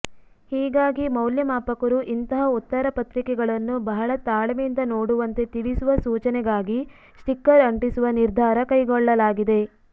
ಹೀಗಾಗಿ ಮೌಲ್ಯಮಾಪಕರು ಇಂತಹ ಉತ್ತರ ಪತ್ರಿಕೆಗಳನ್ನು ಬಹಳ ತಾಳ್ಮೆಯಿಂದ ನೋಡುವಂತೆ ತಿಳಿಸುವ ಸೂಚನೆಗಾಗಿ ಸ್ಟಿಕ್ಕರ್ ಅಂಟಿಸುವ ನಿರ್ಧಾರ ಕೈಗೊಳ್ಳಲಾಗಿದೆ